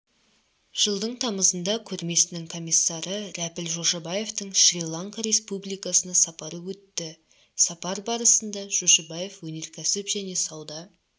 жылдың тамызында көрмесінің комиссары рәпіл жошыбаевтың шри-ланка республикасына сапары өтті сапар барысында жошыбаев өнеркәсіп және сауда